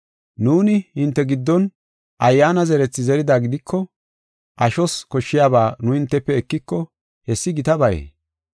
Nuuni hinte giddon ayyaana zerethi zerida gidiko, ashos koshshiyaba nu hintefe ekiko, hessi gitabayee?